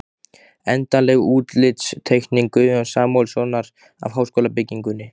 Endanleg útlitsteikning Guðjóns Samúelssonar af háskólabyggingunni.